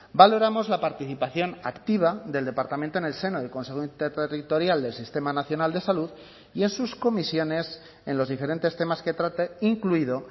valoramos la participación activa del departamento en el seno del consejo interterritorial del sistema nacional de salud y en sus comisiones en los diferentes temas que trate incluido